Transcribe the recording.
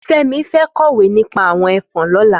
Femi fẹ̀ kọwé nipà awọn ẹfọn lọ̀lá